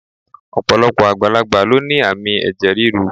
Ọ̀pọ̀lọpọ̀ àgbàlagbà ló ní àmì ẹ̀jẹ̀ ríru